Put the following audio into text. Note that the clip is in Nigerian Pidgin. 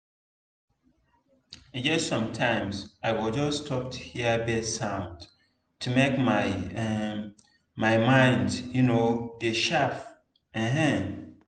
e get sometime i go just stop to hear bird sound to make um my mind um dey sharp. um